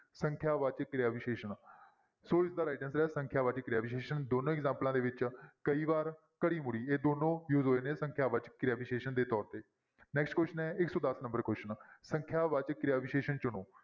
ਸੰਖਿਆ ਵਾਚਕ ਕਿਰਿਆ ਵਿਸ਼ੇਸ਼ਣ ਸੋ ਇਸਦਾ right answer ਹੈ ਸੰਖਿਆ ਵਾਚਕ ਕਿਰਿਆ ਵਿਸ਼ੇਸ਼ਣ ਦੋਨੋਂ ਐਗਜਾਮਪਲਾਂ ਦੇ ਵਿੱਚ ਕਈ ਵਾਰ ਇਹ ਦੋਨੋਂ use ਹੋਏ ਨੇ ਸੰਖਿਆ ਵਾਚਕ ਕਿਰਿਆ ਵਿਸ਼ੇਸ਼ਣ ਦੇ ਤੌਰ ਤੇ next question ਹੈ ਇੱਕ ਸੌ ਦਸ number question ਸੰਖਿਆ ਵਾਚਕ ਕਿਰਿਆ ਵਿਸ਼ੇਸ਼ਣ ਚੁਣੋ।